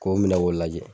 K'o minɛ k'o lajɛ